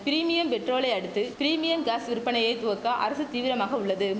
premium பெட்ரோலை அடுத்து premium gas விற்பனையை துவக்க அரசு தீவிரமாக உள்ளது